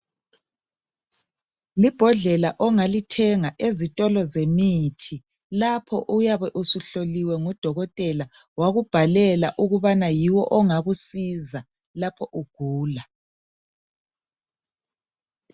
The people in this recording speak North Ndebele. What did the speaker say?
Libhodlela ongalithenga ezitolo zemithi lapho oyabe usuhloliwe ngudokotela wakubhalela ukubana yiwo ongakusiza lapho ugula.